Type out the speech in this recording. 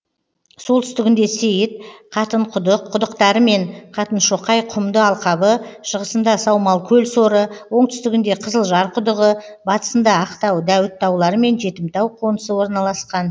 солтүстігінде сейіт қатынқұдық құдықтары мен қатыншоқай құмды алқабы шығысында саумалкөл соры оңтүстігінде қызылжар құдығы батысында ақтау дәуіт таулары мен жетімтау қонысы орналасқан